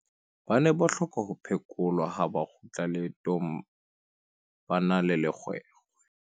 ba ne ba hloka ho phekolwa ha ba kgutla leetong ba na le lekgwekhwe